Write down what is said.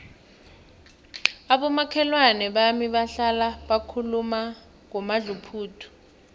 abomakhelwana bami bahlala bakhuluma ngomadluphuthu